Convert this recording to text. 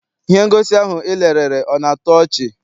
Ihe ngosi ahụ I lerere ọ na-atọ ọchị?